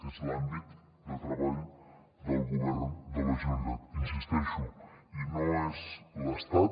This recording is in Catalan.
és l’àmbit de treball del govern de la generalitat hi insisteixo i no és l’estat